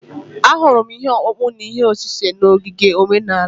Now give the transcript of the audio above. Ahụrụ m ihe ọkpụkpụ na ihe osise n’ogige omenala.